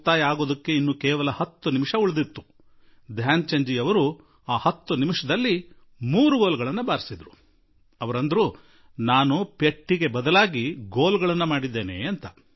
ಆಗ ಆಟ ಮುಗಿಯಲು ಕೇವಲ 10 ನಿಮಿಷ ಬಾಕಿ ಇತ್ತು ಮತ್ತು ಧ್ಯಾನ್ ಚಂದ್ ಜೀ ಆ 10 ನಿಮಿಷದಲ್ಲಿ ಮೂರು ಗೋಲು ಹೊಡೆದುಬಿಟ್ಟರು ಹಾಗೂ ನಾನು ಏಟಿಗೆ ಪ್ರತೀಕಾರವನ್ನು ಗೋಲಿನಲ್ಲಿ ಕೊಟ್ಟುಬಿಟ್ಟೆ ಎಂದು ಅವರು ಹೇಳಿದರು